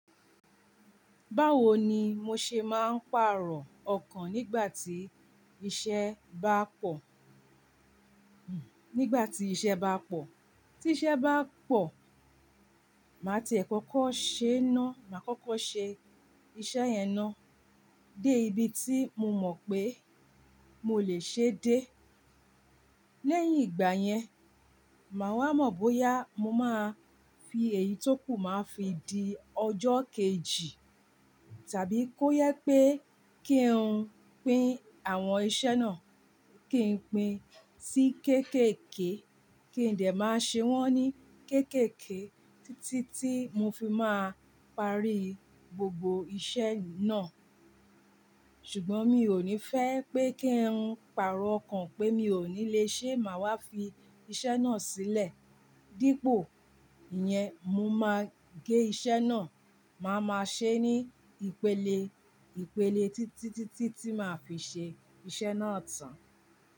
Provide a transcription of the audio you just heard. Báwo ni mo ṣe máa ń pàrọ̀ ọkàn nígbà tí iṣẹ́ bá pọ̀? Nígbà tí iṣẹ́ bá pọ̀, tí iṣẹ́ bá pọ̀, màá ti ẹ̀ kókó ṣe ná, màá kókó ṣe iṣẹ́ yẹn ná, dé ibi tí mo mọ̀ pé mo lè ṣe dé. Lẹ́yìn ìgbà yẹn, màá wá mọ̀ bóyá mo máa fi èyí tó kù máa fi di ọjọ́ kejì, tàbí kó yẹ pé kí n pín àwọn iṣẹ́ náà, kí n pín sí kéékèèké, kí n dè máa ṣe wọ́n ní kéékèèké títí tí mo fi máa parí gbogbo iṣẹ́ náà. Ṣùgbọ́n mi ò ní fẹ́ pé kí n pàrọ̀ ọkàn pé mi ò ní lè ṣe, màá wá fi iṣẹ́ náà sílẹ̀. Dípò ìyẹn, mo máa gé iṣẹ́ náà, màá máa ṣe ní ìpele, ìpele títí tí tí tí màá fi ṣe iṣẹ́ náà tán.